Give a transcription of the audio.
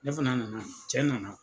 Ne fana nana cɛ nana.